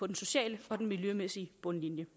den sociale og den miljømæssige bundlinje